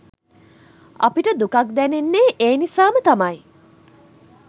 අපිට දුකක් දැනෙන්නේ ඒ නිසාම තමයි